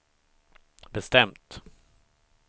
bestämt